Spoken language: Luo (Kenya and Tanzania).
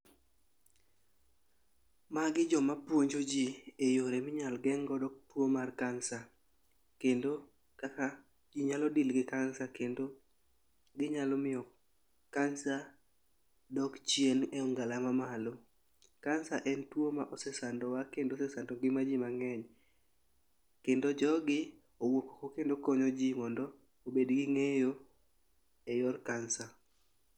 Magi jomapuonji ji e yore minyal geng'godo tuo mar kansa kendo kaka ji nyalo dil gi kansa kendo ginyalo miyo kansa dok chien e ongala mamalo. Kansa en tuo ma osesandowa kendo osesando ngimaji mang'eny kendo jogi owuok oko kendo konyo ji mondo mobed gi ng'eyo e yor kansa.